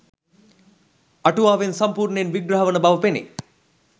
අටුවාවෙන් සම්පූර්ණයෙන් විග්‍රහ වන බව පෙනේ